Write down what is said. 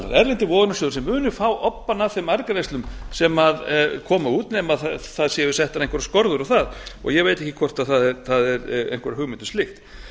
erlendir vogunarsjóðir sem munu fá obbann af þeim arðgreiðslum sem koma út nema settar séu einhverjar skorður á það og ég veit ekki hvort það er einhver hugmynd um slíkt